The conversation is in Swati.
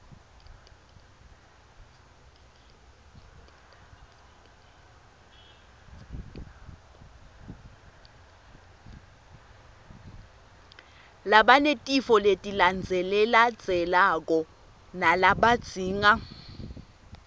labanetifo letilandzelandzelako labadzinga